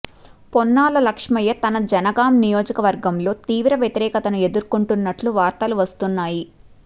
పొన్నాల లక్ష్మయ్య తన జనగాం నియోజకవర్గంలో తీవ్ర వ్యతిరేకతను ఎదుర్కుంటున్నట్లు వార్తలు వస్తున్నాయి